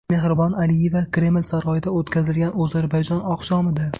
Mehribon Aliyeva Kreml saroyida o‘tkazilgan Ozarbayjon oqshomida.